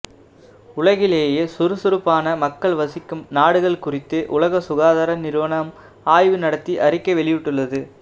உலகிலேயே சுறுசுறுப்பான மக்கள் வசிக்கும் நாடுகள் குறித்து உலக சுகாதார நிறுவனம் ஆய்வு நடத்தி அறிக்கை வெளியிட்டுள்ளது